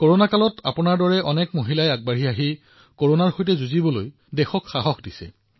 কৰোনাৰ সময়ছোৱাত আপোনাৰ দৰে অনেক মহিলাই আগবাঢ়ি আহি কৰোনাৰ সৈতে যুদ্ধত দেশক শক্তি প্ৰদান কৰিছে